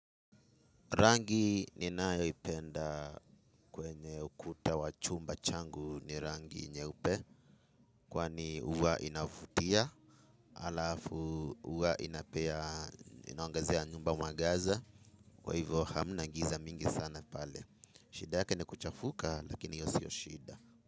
Rangi ninayoipenda kwenye ukuta wa chumba changu ni rangi nyeupe. Kwani huwa inavutia alafu huwa inapea inaongezea nyumba mwangaza. Kwa hivyo hamna giza mingi sana pale. Shida yake ni kuchafuka lakini hiyo sio shida.